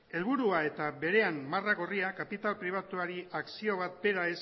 helburua eta berean marra gorria kapital pribatuari akzio bat bera